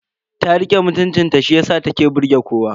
Ta rike mutuncin ta shiyasa ta ke burge kowa.